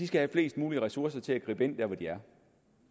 skal have flest mulige ressourcer til at gribe ind der hvor de er